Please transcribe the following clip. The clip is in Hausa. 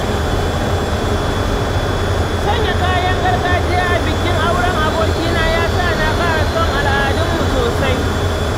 Sanya kayan gargajiya a bikin auren abokina ya sa na ƙara son al’adunmu sosai.